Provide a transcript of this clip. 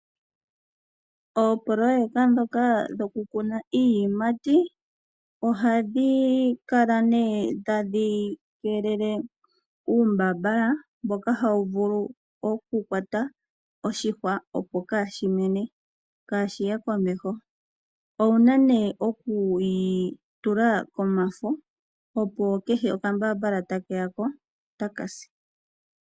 Oopololeka ndhoka dhokukuna iiyimati oha dhikala nee tadhi keelele uumbambala mboka ha wuvulu oku kwata oshihwa opo kaashimene, kaashiye komeho. Owuna nee oku yitula komafo opo kehe okambaambala ta keyako, ota kasi.